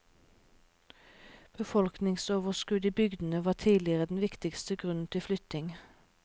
Befolkningsoverskudd i bygdene var tidligere den viktigste grunn til flytting.